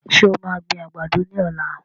Ṣé o maa gbin àgbàdo ní ọ̀la?